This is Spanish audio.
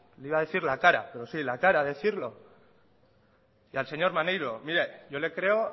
le iba a decir la cara pero sí la cara de decirlo y al señor maneiro mire yo le creo